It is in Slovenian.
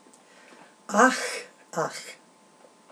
Ah, ah...